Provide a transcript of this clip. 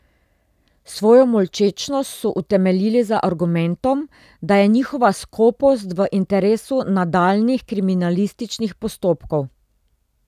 Svojo molčečnost so utemeljili z argumentom, da je njihova skopost v interesu nadaljnjih kriminalističnih postopkov.